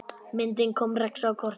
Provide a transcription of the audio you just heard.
Myndin kom Rex á kortið.